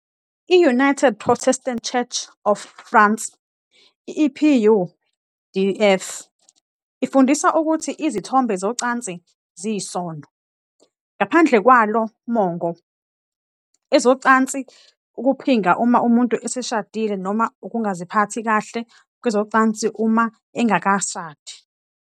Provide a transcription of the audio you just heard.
I- United Protestant Church of France, EPUdf, ifundisa ukuthi izithombe zocansi ziyisono. Ngaphandle kwalo mongo, ezocansi ukuphinga uma umuntu eseshadile noma ukungaziphathi kahle kwezocansi uma engakashadi.